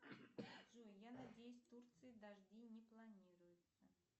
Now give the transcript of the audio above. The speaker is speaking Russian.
джой я надеюсь в турции дожди не планируются